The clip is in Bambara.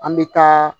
An bɛ taa